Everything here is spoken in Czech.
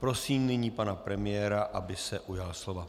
Prosím nyní pana premiéra, aby se ujal slova.